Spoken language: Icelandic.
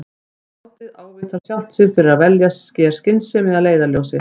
Og skáldið ávítar sjálft sig fyrir að velja sér skynsemi að leiðarljósi.